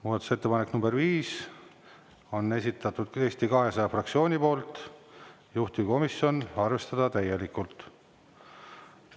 Muudatusettepaneku nr 5 on esitanud Eesti 200 fraktsioon, juhtivkomisjon: arvestada täielikult.